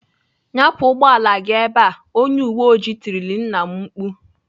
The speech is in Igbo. "Nyapụ ụgbọala gị ebe!" Onye uwe oji tirile nna m mkpu.